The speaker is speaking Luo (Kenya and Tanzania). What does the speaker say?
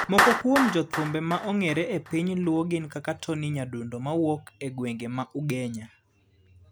Moko kuom jothumbe ma ongere e piny luo gin kaka Tonny Nyadundo mawuok e gwenge ma ugenya.